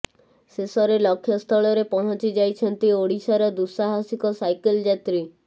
ଶେଷରେ ଲକ୍ଷ୍ୟସ୍ଥଳରେ ପହଞ୍ଚି ଯାଇଛନ୍ତି ଓଡ଼ିଶାର ଦୁଃସାହସିକ ସାଇକେଲ୍ ଯାତ୍ରୀ